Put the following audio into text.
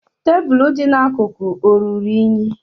Tebụlụ dị n'akụkụ ọ ruru unyi?